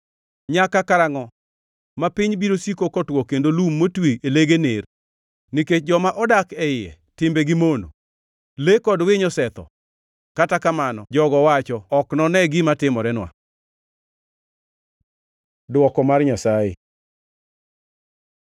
Nyaka karangʼo ma piny biro siko kotwo kendo lum motwi e lege ner? Nikech joma odak e iye timbegi mono, le kod winy osetho. Kata kamano, jogo wacho, “Ok none gima timorenwa.” Dwoko mar Nyasaye